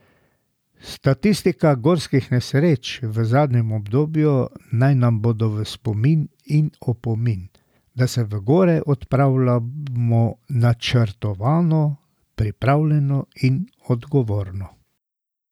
Statistika gorskih nesreč v zadnjem obdobju naj nam bodo v spomin in opomin, da se v gore odpravljajmo načrtovano, pripravljeno in odgovorno.